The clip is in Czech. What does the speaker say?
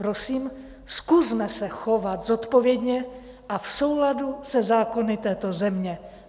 Prosím, zkusme se chovat zodpovědně a v souladu se zákony této země.